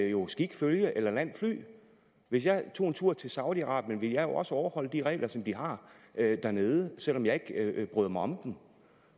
jo skik følge eller land fly hvis jeg tog en tur til saudi arabien ville jeg jo også overholde de regler som de har dernede selv om jeg ikke bryder mig om dem